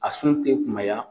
A sun tɛ kunbaya